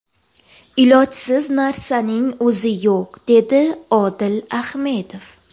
Ilojsiz narsaning o‘zi yo‘q”dedi Odil Ahmedov.